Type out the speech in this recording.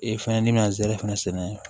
Ee fɛnɛ n'i bɛna zɛrlɛfɛnɛ